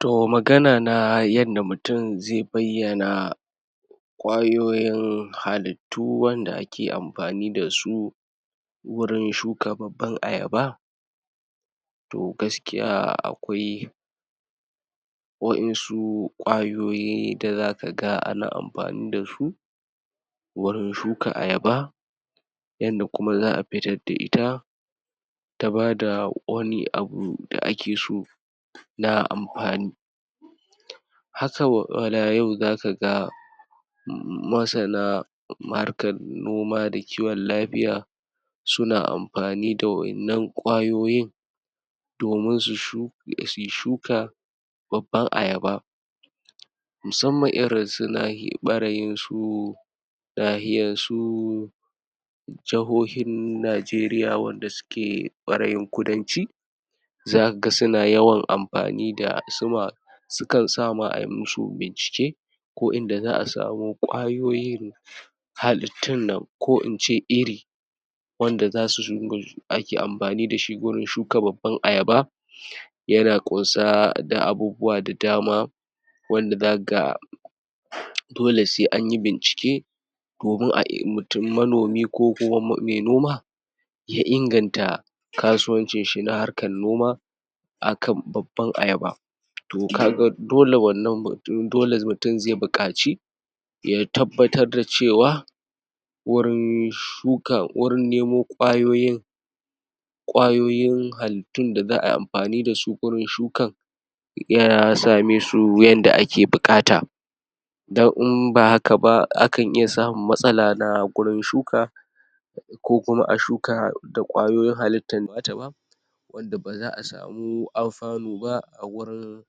To magana na yanda mutum zai bayyana ƙwayoyin halittu wanda ake amfani dasu gurin shuka babban ayaba to gaskiya akwai waƴansu ƙwayoyi da zakaga ana amfani dasu wurin shuka ayaba yanda kuma za'a fitar da ita ta bada wani abu da ake so na amfani. haka w? wala yau zakaga masana harkar noma da kiwon lafiya suna amfani da waƴannan ƙwayoyin domin su shu? suyi shuka babban ayaba musamman irin su nah? ɓarayin su nahiyar su jihohin Najeriya, wanda suke ɓarayin kudanci zakaga suna yawan amfani da su ma su kan sa ma ai musu bincike ko inda za'a samo ƙwayoyi halittun nan ko ince iri wanda zasu zungul, ake amfani dashi gurin shuka babban ayaba yana ƙunsa da abubuwa da dama wanda zakaga dole sai anyi bincike domin a ilmitu manomi, ko kuma me noma ya inganta kasuwancin shi na harkar noma a kan babban ayaba. To kaga dole wannan mut? dole mutum zai buƙaci ya tabbatar da cewa wurin shuka, wurin nemo ƙwayoyin ƙwayoyin halittun da za'ai amfani dasu gurin shukan ya samesu yanda ake buƙata don in ba haka ba, akan iya samun matsala na gurin shuka ko kuma a shuka da ƙwayoyin halittan na ta ba wanda ba za'a samu alfanu ba a gurin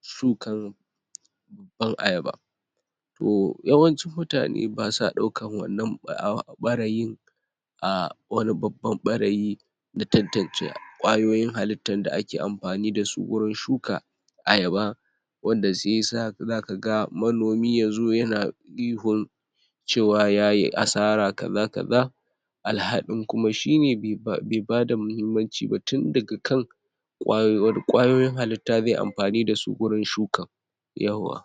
shukan babban ayaba To yawancin mutane basa daukan wannan ɓa? ɓarayin um, wani babban ɓarayi na tantance ƙwayoyin halittan da ake amfani dasu gurin shuka ayaba wanda shiyasa zakaga manomi yazo yana ihun cewa yayi asara kaza kaza alhalin kuma shine be ba be bada muhimmanci ba tun daga kan ƙwayo? wane ƙwayoyin halitta zai amfani dasu gurin shuka yawwa.